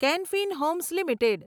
can Fin Homes limited